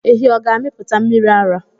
Ehi ọ̀ ga-amịpụta mmiri ara?